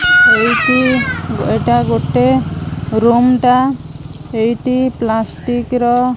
ଏଇଟି ଏଟା ଗୋଟେ ରୁମ୍ ଟା ଏଇଟି ପ୍ଲାଷ୍ଟିକ୍ ର --